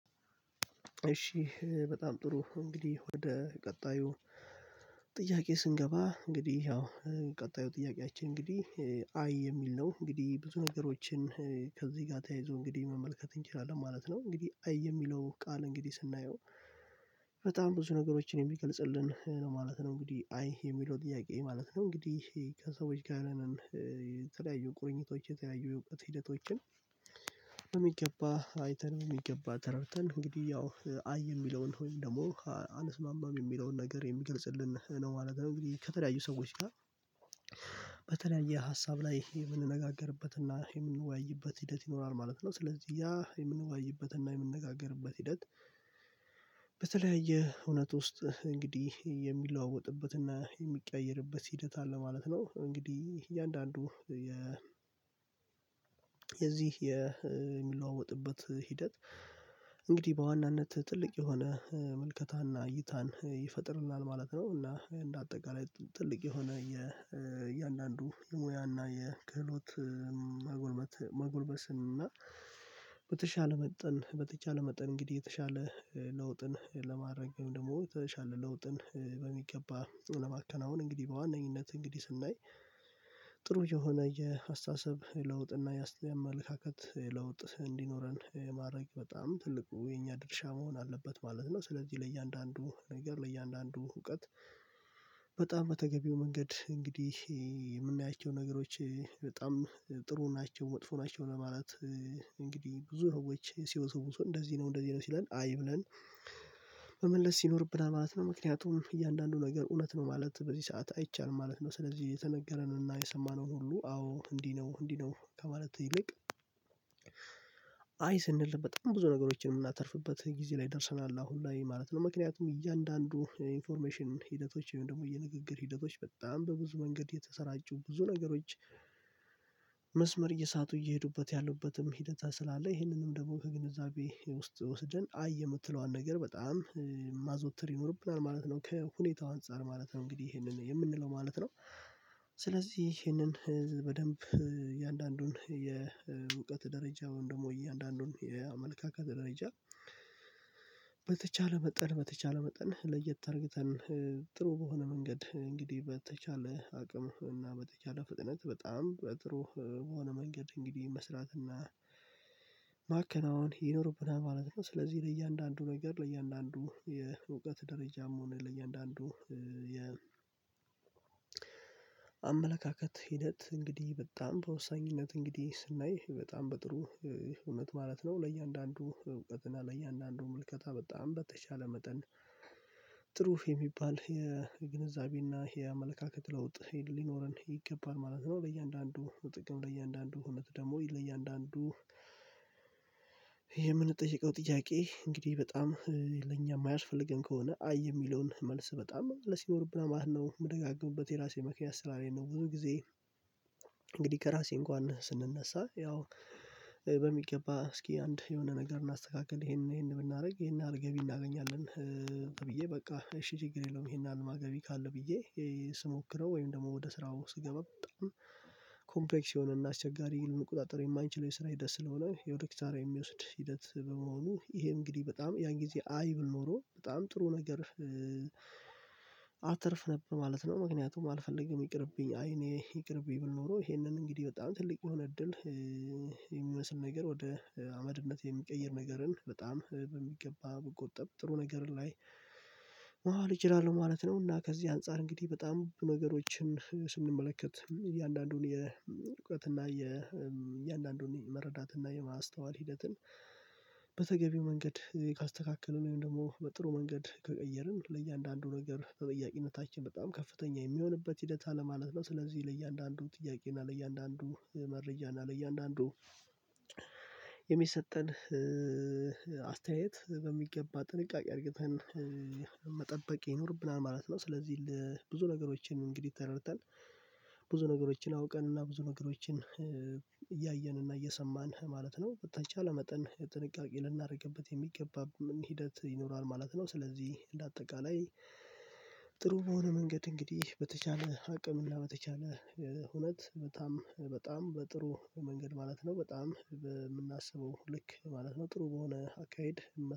እሺ በጣም ጥሩ እንግዲህ ወደ ቀጣዩ ጥያቄ ስንገባ እንግዲህ ያው ቀጣዩ ጥያቄያችን እንግዲህ አይ የሚል ነው እንግዲህ ብዙ ነገሮችን ከዚህ ጋር ተያይዞ እንግዲህ መመልከት እንችላለን ማለት ነው። እንግዲህ አይ የሚለው ቃል እንግዲህ ስናየው በጣም ብዙ ነገሮችን የሚገልጽልን ማለት ነው እንግዲህ አይ የሚለው ጥያቄ ማለት ነው። እንግዲህ ከሰዎች ጋር ተለያዩ ቁርኝቶች የተለያዩ የውቅት ሂደቶችን የሚገባ አይተን የሚገባ ተረድተን እንግዲህ ያው አይ የሚለውን ወይም ደግሞ አንስማማም የሚለውን ነገር የሚገልጽልን ነው። አነጋገር እንግዲህ ከተለያዩ ሰዎች ጋር በተለያየ ሀሳብ ላይ ይሄ የምንነጋገርበት እና ሂደት ይኖራል ማለት ነው። ስለዚህ ያ የምንወያይበት እና የምንነጋገርበት ሂደት በተለያየ እውነት ውስጥ እንግዲህ የሚለዋወጥበትና የሚቀያየርበት ሂደት አለ ማለት ነው። እንግዲህ እያንዳንዱ የ የዚህ የሚለዋወጥበት ሂደት እንግዲህ በዋናነት ትልቅ የሆነ ምልከታና እይታን ይፈጥርልናል ማለት ነው። እና እንደ አጠቃላይ ትልቅ የሆነ የእያንዳንዱ የሙያና የክህሎት መጎልበስ መጎልበስን እና በተሻለ መጠን በተቻለ መጠን እንግዲህ የተሻለ ለውጥን ለማረግም ደግሞ ተሻለ ለውጥን በሚገባ ጥሩ ለማከናወን እንግዲህ በዋነኝነት እንግዲህ ስናይ ጥሩ የሆነ የአስተሳሰብ ለውጥ እና የአስተያየት አመለካከት ለውጥ እንዲኖረን ማድረግ በጣም ትልቁ የኛ ድርሻ መሆን አለበት ማለት ነው። ስለዚህ ለእያንዳንዱ ነገር ለእያንዳንዱ እውቀት በጣም መተገቢው መንገድ እንግዲህ የምናያቸው ነገሮች በጣም ጥሩ ናቸው መጥፎ ናቸው ለማለት እንግዲህ ብዙ ህይወት ሲወሰወሰ እንደዚህ ነው እንደዚህ ነው ሲለን አይ ብለን መመለስ ሲኖርብና ማለት ነው ምክንያቱም እያንዳንዱ ነገር እውነት ነው ማለት በዚህ ሰዓት አይቻልም ማለት ነው። ስለዚህ የተነገረንን እና የሰማነውን ሁሉ አዎ እንዲህ ነው እንዲህ ነው ከማለት ይልቅ አይ ስንል በጣም ብዙ ነገሮችን የምናተርፍበት ጊዜ ላይ ደርሰናል አሁን ላይ ማለት ነው። ምክንያቱም እያንዳንዱ ኢንፎርሜሽን ሂደቶች ወይም ደግሞ የንግግር ሂደቶች በጣም በብዙ መንገድ የተሰራጩ ብዙ ነገሮች መስመር እየሳቱ እየሄዱበት ያሉበትም ሂደት ስላለ ይሄንንም ደግሞ ከግንዛቤ ውስጥ ወስደን አየህ የምትለዋን ነገር በጣም ማዞተር ይኖርብናል ማለት ነው። ከሁኔታው አንፃር ማለት ነው እንግዲህ ይሄንን የምንለው ማለት ነው። ስለዚህ ይሄንን በደንብ የእውቀት ደረጃ ወይም ደግሞ የአንዳንዱን የአመልካከት ደረጃ በተቻለ መጠን በተቻለ መጠን ለየት አርግተን ጥሩ በሆነ መንገድ እንግዲህ በተቻለ አቅም እና በተቻለ ፍጥነት በጣም በጥሩ የሆነ መንገድ እንግዲህ መስራትና ማከናወን ይኖርብናል ማለት ነው። ስለዚህ ለእያንዳንዱ ነገር ለእያንዳንዱ የእውቀት ደረጃም ሆነ ለእያንዳንዱ የ አመለካከት ሂደት እንግዲህ በጣም በወሳኝነት እንግዲህ ስናይ በጣም በጥሩ ህመት ማለት ነው ለእያንዳንዱ እውቀትና ለእያንዳንዱ መልከታ በጣም በተቻለ መጠን ጥሩፍ የሚባል የግንዛቤና የአመለካከት ለውጥ ሊኖረን ይገባል ማለት ነው። ለእያንዳንዱ ጥቅም ለእያንዳንዱ እውነት ደግሞ ለእያንዳንዱ የምንጠይቀው ጥያቄ እንግዲህ በጣም ለኛ የማያስፈልገን ከሆነ አይ የሚለውን መልስ በጣም ለሲኦር ብላ ማለት ነው የምደጋገምበት የራሴ መክንያ ስትራቴጂ ነው። ብዙ ጊዜ እንግዲህ ከራሴ እንኳን ስንነሳ ያው በሚገባ እስኪ አንድ የሆነ ነገር እናስተካክል ይሄንን ይሄንን ብናደርግ ይሄንን አርገቢ እናገኛለን ብዬ በቃ እሺ ችግር የለውም ይሄን አልማ ገቢ ካለ ብዬ ስሞክረው ነው። ወይም ደግሞ ወደ ስራው ስገባ በጣም ኮምፕሬክስ የሆነና አስቸጋሪ ህልም ቁጥጥር የስራ ሂደት ስለሆነ የወደ ኪታራ የሚወስድ ሂደት በመሆኑ ይሄ እንግዲህ በጣም ያን ጊዜ አይብል ኖሮ በጣም ጥሩ ነገር አትርፍ ነበር ማለት ነው። ምክንያቱም አልፈልግም ይቅርብኝ አይ እኔ ይቅርብኝ ቢብል ኖሮ ይሄንን እንግዲህ በጣም ትልቅ የሆነ እድል የሚመስል ነገር ወደ አመድነት የሚቀይር ነገርን በጣም በሚገባ መቆጠብ ጥሩ ነገር ላይ ኤችላለው ማለት ነው። እና ከዚህ አንፃር እንግዲህ በጣም ነገሮችን ስንመለከት እያንዳንዱን የእውቀት እና የእያንዳንዱን የመረዳት እና የማስተዋል ሂደትን በተገቢው መንገድ ካስተካከለን ወይም ደግሞ በጥሩ መንገድ ከቀየርን ለእያንዳንዱ ነገር ተጠያቂነታችን በጣም ከፍተኛ የሚሆንበት ሂደት አለ ማለት ነው። ስለዚህ ለእያንዳንዱ ጥያቄ እና ለእያንዳንዱ መረዳት እና ለእያንዳንዱ የሚሰጠን አስተያየት በሚገባ ጥንቃቄ አርግተን መጠበቅ ይኖርብናል ማለት ነው። ስለዚህ ብዙ ነገሮችን እንግዲህ ተረድተን ብዙ ነገሮችን አውቀን እና ብዙ ነገሮችን እያየን እና እየሰማን ማለት ነው በተቻለ መጠን ጥንቃቄ ልናደርግበት የሚገባ ሂደት ይኖራል ማለት ነው። ስለዚህ ለአጠቃላይ በሆነ መንገድ እንግዲህ በተቻለ አቅምና በተቻለ እውነት በጣም በጣም በጥሩ መንገድ ማለት ነው በጣም የምናስበው ልክ ማለት ነው ጥሩ በሆነ አካሄድ